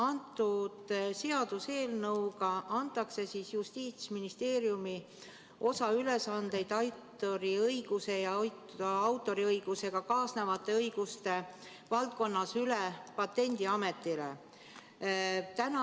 Selle seaduseelnõuga antakse Justiitsministeeriumi osa ülesandeid autoriõiguse ja autoriõigusega kaasnevate õiguste valdkonnas üle Patendiametile.